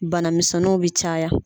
Banamisɛnninw be caya